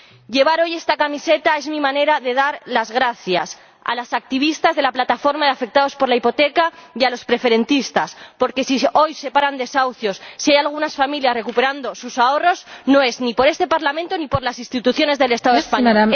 Llevar hoy esta camiseta es mi manera de dar las gracias a las activistas de la Plataforma de Afectados por la Hipoteca y a los preferentistas, porque, si hoy se paran desahucios, si hay algunas familias que recuperan sus ahorros, no es ni por este Parlamento ni por las instituciones del Estado español.